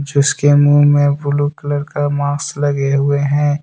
उसके मुंह में ब्लू कलर का मास्क लगे हुए हैं।